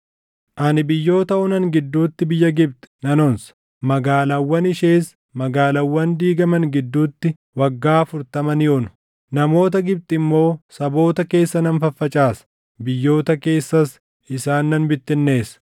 Ani biyyoota onan gidduutti biyya Gibxi nan onsa; magaalaawwan ishees magaalaawwan diigaman gidduutti waggaa afurtama ni onu. Namoota Gibxi immoo saboota keessa nan faffacaasa; biyyoota keessas isaan nan bittinneessa.